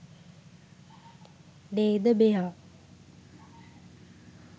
නේද මෙයා